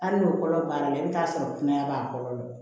Hali n'o kɔlɔ b'a la i bi t'a sɔrɔ kunaya b'a kɔnɔ